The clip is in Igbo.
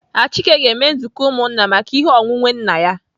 Achike ga-eme nzukọ ụmụnna maka ihe onwunwe nna ya.